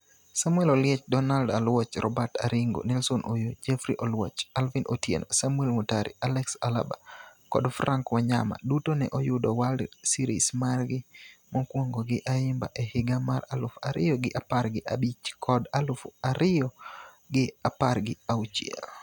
Samuel Oliech, Donald Aluoch, Robert Aringo, Nelson Oyoo, Jeffrey Oluoch, Alvin Otieno, Samuel Motari, Alex Olaba kod Frank Wanyama duto ne oyudo World Series margi mokwongo gi Ayimba e higa mar aluf ariyo gi apar gi abich kod aluf ariyo gi apar gi auchiel.